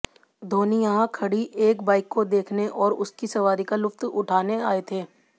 धौनी यहां खड़ी एक बाइक को देखने और उसकी सवारी का लुत्फा उठाने आए थे